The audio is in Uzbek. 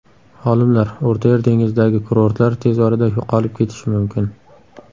Olimlar: O‘rtayer dengizidagi kurortlar tez orada yo‘qolib ketishi mumkin.